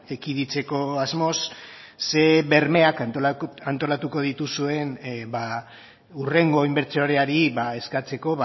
ekiditeko asmoz ze bermeak antolatuko dituzuen hurrengo inbertsoreari eskatzeko